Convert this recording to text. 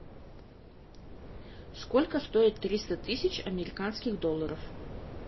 сколько стоит триста тысяч американских долларов